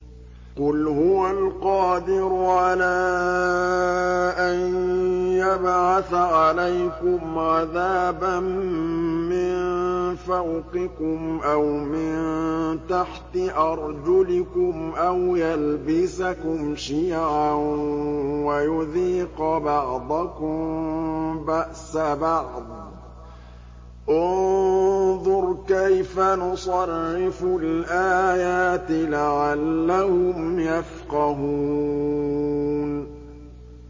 قُلْ هُوَ الْقَادِرُ عَلَىٰ أَن يَبْعَثَ عَلَيْكُمْ عَذَابًا مِّن فَوْقِكُمْ أَوْ مِن تَحْتِ أَرْجُلِكُمْ أَوْ يَلْبِسَكُمْ شِيَعًا وَيُذِيقَ بَعْضَكُم بَأْسَ بَعْضٍ ۗ انظُرْ كَيْفَ نُصَرِّفُ الْآيَاتِ لَعَلَّهُمْ يَفْقَهُونَ